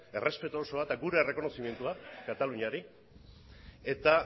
errespetu osoa eta gure errekonozimendua kataluniari